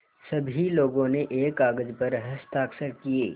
सभी लोगों ने एक कागज़ पर हस्ताक्षर किए